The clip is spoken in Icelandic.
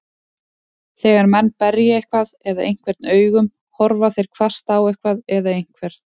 Þegar menn berja eitthvað eða einhvern augum, horfa þeir hvasst á eitthvað eða einhvern.